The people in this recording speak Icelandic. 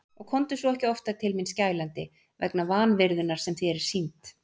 Og komdu svo ekki oftar til mín skælandi vegna vanvirðunnar sem þér er sýnd.